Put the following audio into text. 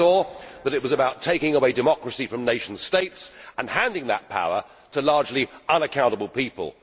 She saw that it was about taking away democracy from nation states and handing that power to largely unaccountable people.